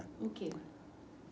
O quê?